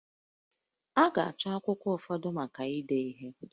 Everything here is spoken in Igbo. A ga-achọ akwụkwọ ụfọdụ maka ide ihe